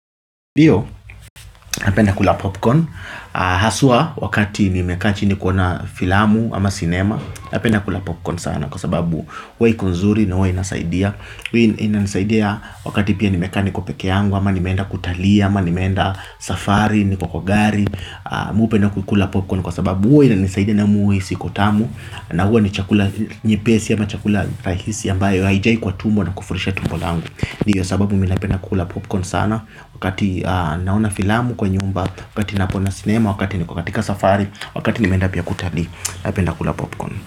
Ndio, napenda kula popcorn hasa wakati nimekaa ni kuona filamu ama sinema. Napenda kula popcorn sana kwa sababu huwa ni nzuri na inasaidia. Inanisaidia wakati pia nimekaa peke yangu, ama nimeenda kutalii, ama nimeenda safari, ni kwa gari. Mimi hupenda kukula popcorn kwa sababu huwa inanisaidia na iko tamu na huwa ni chakula chepesi ama chakula rahisi ambacho hakijai tumbo na hakishibishi tumbo langu. Ndiyo, sababu napenda kula popcorn sana wakati naangalia filamu nyumbani, wakati naona sinema, wakati nimekaa safarini, wakati nimeenda pia kutalii, napenda kula popcorn.